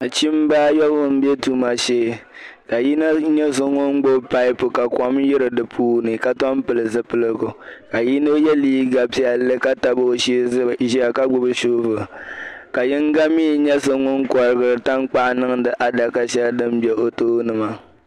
Nachimba ayobu be tuma shee ka yino nye ŋun gbubi pipe pu ka kom ka kom yiri di puuni ka tom pili zupiligu ka yino ye liiga piɛlli ka tab o shee jia ka gbubi "shovel" ka yino mi nya so ŋun korigiir tankpaɣu niŋdi adaka shɛli din be o tooni maa